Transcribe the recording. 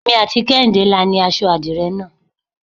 Èmi àti Kehinde la ni aṣọ adire náà.